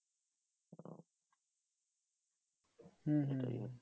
হম হম